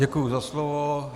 Děkuji za slovo.